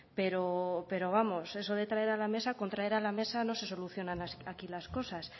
pero pero vamos eso de traer a la mesa con traer a la mesa no se solucionan aquí las cosas